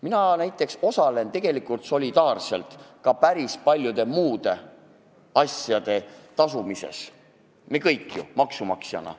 Mina näiteks osalen tegelikult solidaarselt ka päris paljude muude asjade tasumises, nagu me kõik maksumaksjatena.